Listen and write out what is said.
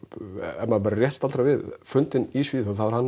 ef maður bara rétt staldrar við fundinn í Svíþjóð þá er hann